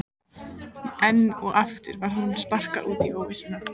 Enn og aftur var honum sparkað út í óvissuna.